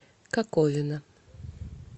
коковина